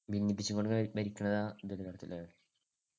ഭിന്നിപ്പിച്ചുകൊണ്ടു ഭരിക്കുന്നത് ഇതിൽ വരത്തില്ലേ